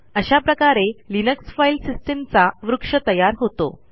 अशा प्रकारे Linux file सिस्टीमचा वृक्ष तयार होतो